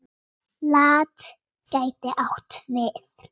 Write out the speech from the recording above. Hvað fannst Dagný um atvikið?